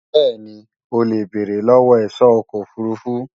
bẹ́ẹ̀ni, o lè béèrè lọ́wọ́ ẹ̀ṣọ́ ọkọ̀ òfurufú